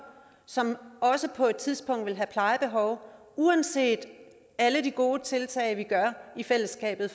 som på et tidspunkt vil få plejebehov uanset alle de gode tiltag vi tager i fællesskab